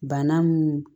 Bana mun